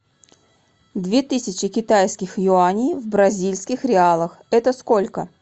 две тысячи китайских юаней в бразильских реалах это сколько